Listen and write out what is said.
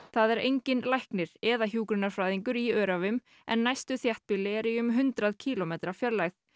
það er enginn læknir eða hjúkrunarfræðingur í Öræfum en næstu þéttbýli eru í um hundrað kílómetra fjarlægð